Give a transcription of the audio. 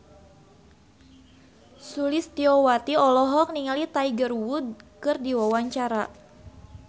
Sulistyowati olohok ningali Tiger Wood keur diwawancara